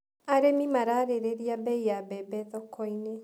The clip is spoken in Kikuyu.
Arĩmi mararĩrĩria mbei ya mbembe thokoinĩ.